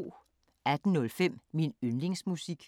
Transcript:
18:05: Min yndlingsmusik